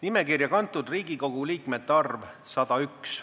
Nimekirja kantud Riigikogu liikmete arv – 101.